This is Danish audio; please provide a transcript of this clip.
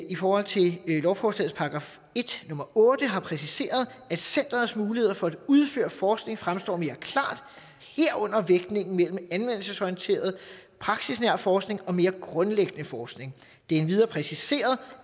i forhold til lovforslagets § en nummer otte har præciseret at centerets muligheder for at udføre forskning fremstår mere klare herunder vægtningen mellem anvendelsesorienteret praksisnær forskning og mere grundlæggende forskning det er endvidere præciseret